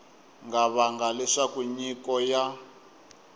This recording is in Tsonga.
nga vanga leswaku nyiko ya